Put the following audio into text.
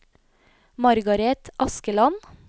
Margaret Askeland